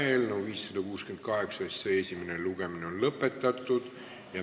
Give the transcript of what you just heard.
Eelnõu 568 esimene lugemine on lõppenud.